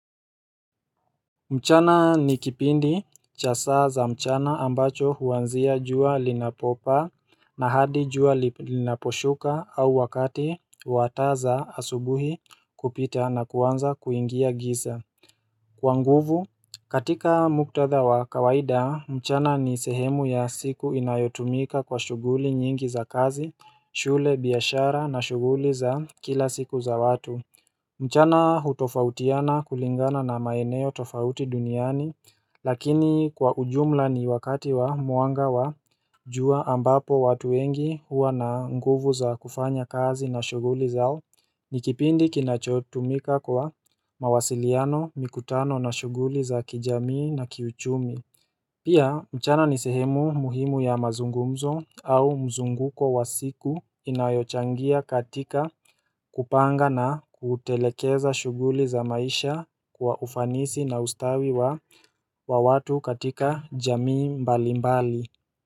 Mchana ni kipindi cha saa za mchana ambacho huanzia jua linapopaa na hadi jua linaposhuka au wakati wataa za asubuhi kupita na kuanza kuingia giza Kwa nguvu katika muktadha wa kawaida mchana ni sehemu ya siku inayotumika kwa shughuli nyingi za kazi, shule, biashara na shughuli za kila siku za watu mchana utofautiana kulingana na maeneo tofauti duniani lakini kwa ujumla ni wakati wa mwanga wa jua ambapo watu wengi huwa na nguvu za kufanya kazi na shughuli zao ni kipindi kinachotumika kwa mawasiliano mikutano na shuguli za kijamii na kiuchumi Pia mchana ni sehemu muhimu ya mazungumzo au mzunguko wa siku inayochangia katika kupanga na kutelekeza shughuli za maisha kwa ufanisi na ustawi wa watu katika jamii mbali mbali.